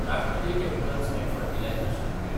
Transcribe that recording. राष्ट्रीय chemicals and fertilisers limited